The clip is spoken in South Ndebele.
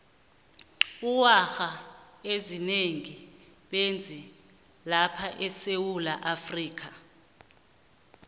iwarha ezinengi bezi lapha esewulaafrika